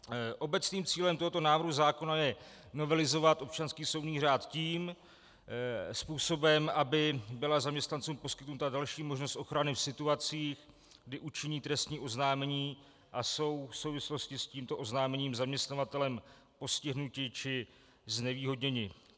Obecným cílem tohoto návrhu zákona je novelizovat občanský soudní řád tím způsobem, aby byla zaměstnancům poskytnuta další možnost ochrany v situacích, kdy učiní trestní oznámení a jsou v souvislosti s tímto oznámením zaměstnavatelem postihnuti či znevýhodněni.